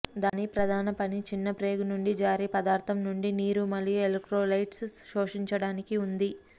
దాని ప్రధాన పని చిన్న ప్రేగు నుండి జారీ పదార్థం నుండి నీరు మరియు ఎలెక్ట్రోలైట్స్ శోషించడానికి ఉంది